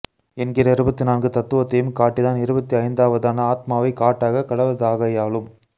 என்கிற இருபத்து நான்கு தத்துவத்தையும் காட்டி தான் இருபத்து ஐந்தாவரான ஆத்மாவைக் காட்டாக கடவதாகையாலும்